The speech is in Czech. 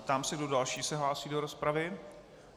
Ptám se, kdo další se hlásí do rozpravy?